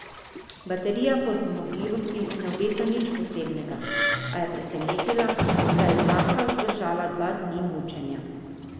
Baterija po zmogljivosti ne obeta nič posebnega, a je presenetila, saj je zlahka zdržala dva dni mučenja.